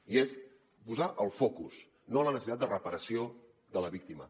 i és posar hi el focus no la necessitat de reparació de la víctima